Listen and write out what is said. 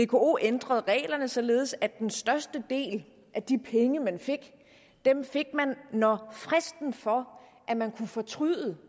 vko ændrede reglerne således at den største del af de penge man fik fik man når fristen for at man kunne fortryde